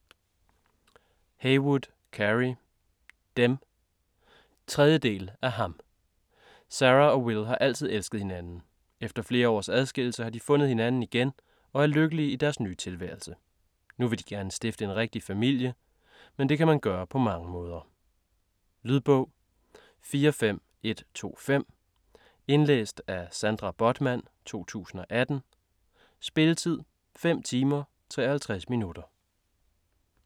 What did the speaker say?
Heywood, Carey: Dem 3. del af Ham. Sarah og Will har altid elsket hinanden. Efter flere års adskillelse har de fundet hinanden igen og er lykkelige i deres nye tilværelse. Nu vil de gerne stifte en rigtig familie. Men det kan man gøre på mange måder. Lydbog 45125 Indlæst af Sandra Bothmann, 2018. Spilletid: 5 timer, 53 minutter.